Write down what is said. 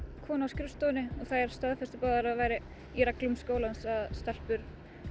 konu á skrifstofunni og þær staðfestu báðar að það væri í reglum skólans að stelpur